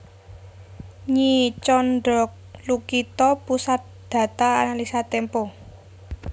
Nyi Tjondrolukito Pusat Data Analisa Tempo